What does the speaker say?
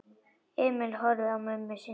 Emil horfði á mömmu sína.